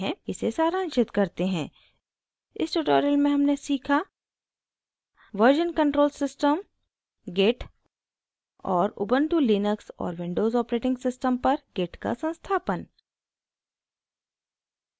इसे सारांशित करते हैं इस ट्यूटोरियल में हमने सीखा: version control system git और उबन्टु लिनक्स और विंडोज़ ऑपरेटिंग सिस्टम पर गिट का संस्थापन